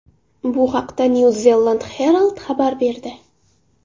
Bu haqda New Zealand Herald xabar berdi .